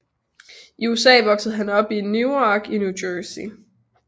I USA voksede han op i i Newark i New Jersey